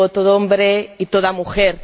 Yo digo todo hombre y toda mujer.